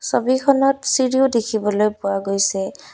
ছবিখনত চিৰিও দেখিবলৈ পোৱা গৈছে।